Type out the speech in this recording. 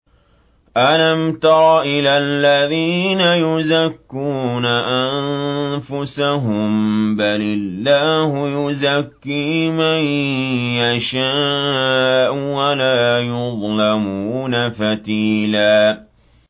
أَلَمْ تَرَ إِلَى الَّذِينَ يُزَكُّونَ أَنفُسَهُم ۚ بَلِ اللَّهُ يُزَكِّي مَن يَشَاءُ وَلَا يُظْلَمُونَ فَتِيلًا